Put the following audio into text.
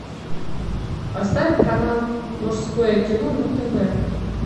поставь канал мужское кино на тв